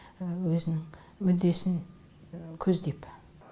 өзінің мүддесін көздеп